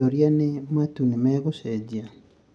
kĩuria nĩ matuu nĩmegucejia?